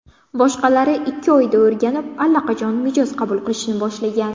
Boshqalari ikki oyda o‘rganib, allaqachon mijoz qabul qilishni boshlagan.